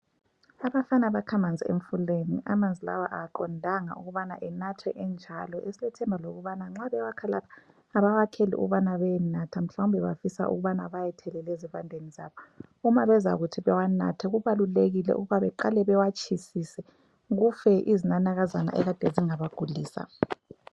Abafana bakhamanzi emfuleni. Amanzi lawa aqondanga ukubana enathwe enjalo esilethemba lokubana nxa bewakha lapha abawakheli ukubana beyenatha, mhlawumbe bafisa ukubana bayethelela ezivandeni zabo. Uma bezakuthi bewanathe kubalulekile ukuba beqale bewatshisise kufe izinanakazana ekade zingabagulisa.